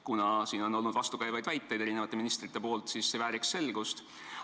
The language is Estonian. Kuna me oleme selle kohta eri ministritelt kuulnud vastukäivaid väiteid, siis see vajaks selgitust.